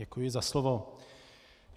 Děkuji za slovo.